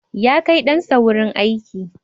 Ya kai ɗansa wurin aiki.